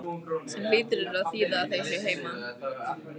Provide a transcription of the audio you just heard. Sem hlýtur að þýða að þau séu heima.